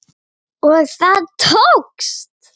Og það tókst!